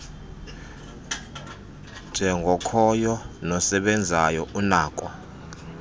njengokhoyo nosebenzayo unako